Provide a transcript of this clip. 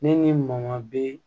Ne ni maman bee